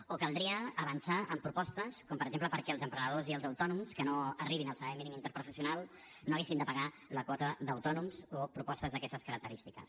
o caldria avançar amb propostes com per exemple perquè els emprenedors i els autònoms que no arribin al salari mínim interprofessional no haguessin de pagar la quota d’autònoms o propostes d’aquestes característiques